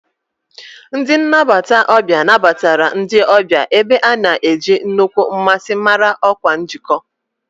Ndị nnabata ọbịa nabatara ndị ọbịa, ebe a na-eji nnukwu mmasị mara ọkwa njikọ.